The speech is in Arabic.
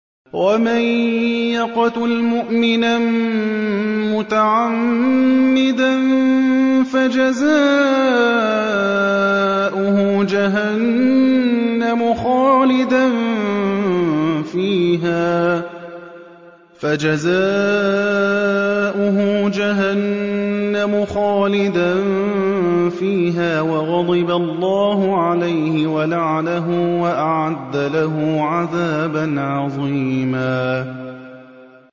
وَمَن يَقْتُلْ مُؤْمِنًا مُّتَعَمِّدًا فَجَزَاؤُهُ جَهَنَّمُ خَالِدًا فِيهَا وَغَضِبَ اللَّهُ عَلَيْهِ وَلَعَنَهُ وَأَعَدَّ لَهُ عَذَابًا عَظِيمًا